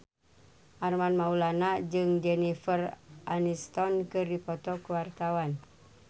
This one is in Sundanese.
Armand Maulana jeung Jennifer Aniston keur dipoto ku wartawan